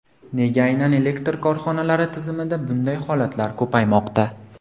Nega aynan elektr korxonalari tizimida bunday holatlar ko‘paymoqda?